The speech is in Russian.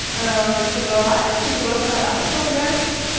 ээ собралась и просто одна пошла гулять